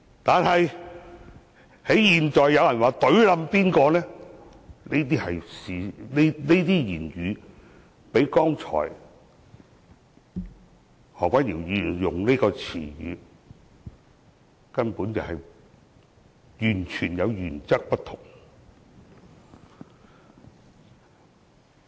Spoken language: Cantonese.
但是，現在有人說要"隊冧"誰，這用語較剛才提及何君堯議員所用的詞語的原則根本完全不同。